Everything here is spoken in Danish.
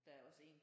Der er også en